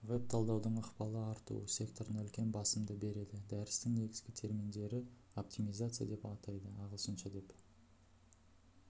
веб талдаудың ықпалы артуы секторына үлкен басымды береді дәрістің негізгі терминдері оптимизация деп атайды ағылшынша деп